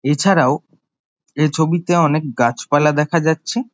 এছাড়াও এ ছবিতে অনেক গাছপালা দেখা যাচ্ছে।